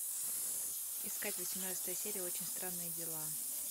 искать восемнадцатая серия очень странные дела